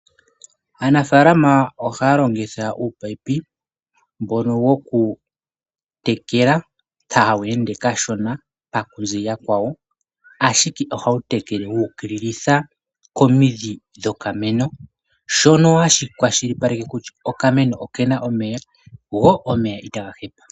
Aanafaalama ohaya longitha uupayipi mbono woku tekela ta wu ende kashona pa ku zila kwawo, ashike tekele wuukililitha komindhi dhokameno shono hashi kwashilipaleke kutya ikameno okena omeya nomeya ita ga hepa.